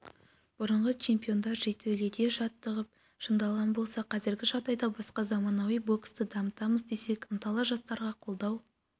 бұрынғы чемпиондар жертөледе жаттығып шыңдалған болса қазіргі жағдай басқа заманауи боксты дамытамыз десек ынталы жастарға қолдау